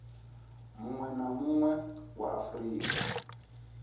munwe na munwe wa afurika